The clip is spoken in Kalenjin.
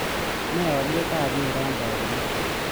Nee alyetap weron taagunot